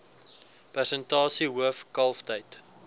persentasie hoof kalftyd